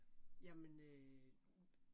Jamen øh